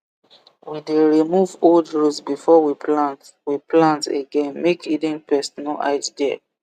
we dey remove old root before we plant we plant again make hidden pest no hide there